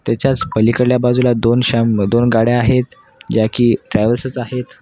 त्याच्याच पलीकडल्या बाजूला दोन शाम दोन गाड्या आहेत ज्या की ट्रॅवेसेस आहेत.